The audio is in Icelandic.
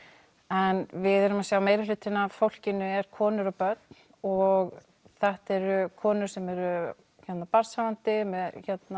en við erum að sjá að meirihlutinn af fólkinu er konur og börn og þetta eru konur sem eru barnshafandi með